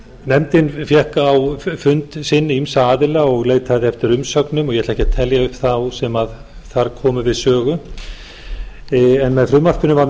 nefndin fékk á fund sinn ýmsa aðila og leitaði eftir umsögnum og ég ætla ekki að telja upp sem þar komu við sögu með frumvarpinu er